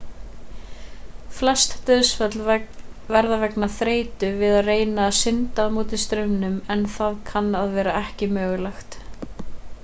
flest dauðsföll verða vegna þreytu við að reyna að synda á móto straumnum en það kann að vera ekki mögulegt